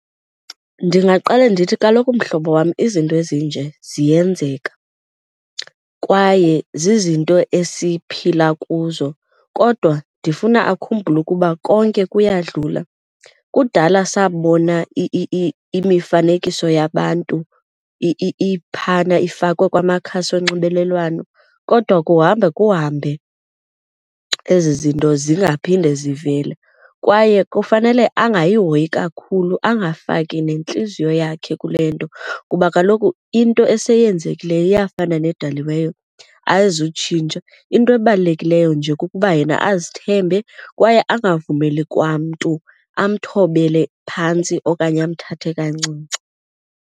Ndingaqale ndithi, kaloku mhlobo wam izinto ezinje ziyenzeka kwaye zizinto esiphila kuzo kodwa ndifuna akhumbule ukuba konke kuyadlula. Kudala sabona imifanekiso yabantu iphana ifakwe kumakhasi onxibelelwano kodwa kuhamba kuhambe ezi zinto zingaphinde zivele kwaye kufanele angayihoyi kakhulu angafaki nentliziyo yakhe kule nto kuba kaloku into esenzekileyo iyafana nedaliweyo ayizutshintsha. Into ebalulekileyo nje kukuba yena azithembe kwaye angavumi eli kwamntu amthobele phantsi okanye amthathe kancinci.